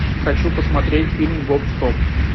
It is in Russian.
хочу посмотреть фильм гоп стоп